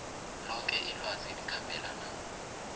loke ilwazi elikhambelana